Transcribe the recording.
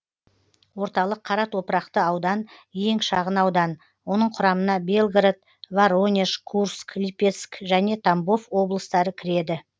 орталық қара топырақты аудан ең шағын аудан оның құрамына белгород воронеж курск липецк және тамбов облыстары кіреді